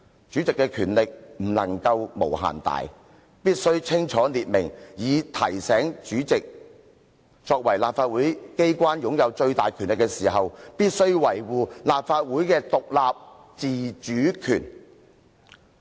主席的權力不能無限大，必須清楚列明這些原則，以提醒主席作為立法會機關擁有最大權力的人時，必須維護立法會的獨立自主權。